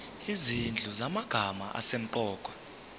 izinhlu zamagama asemqoka